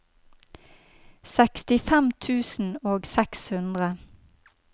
sekstifem tusen og seks hundre